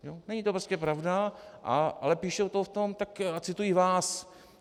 Není to prostě pravda, ale píšou to v tom a citují vás.